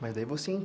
Mas daí você